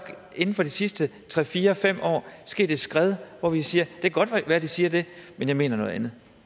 inden for de sidste tre fire fem år sket et skred hvor vi siger det kan godt være at de siger det men jeg mener noget andet